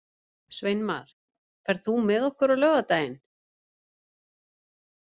Sveinmar, ferð þú með okkur á laugardaginn?